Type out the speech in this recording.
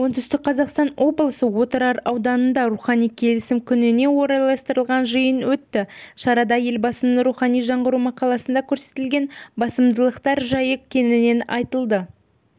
оңтүстік қазақстан облысы отырар ауданында рухани келісім күніне орайластырылған жиын өтті шарада елбасының рухани жаңғыру мақаласында көрсетілген басымдықтар жайы кеңінен айтылды